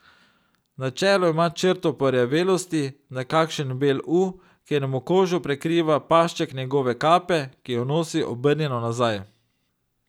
Na čelu ima črto porjavelosti, nekakšen bel U, kjer mu kožo prekriva pašček njegove kape, ki jo nosi obrnjeno nazaj.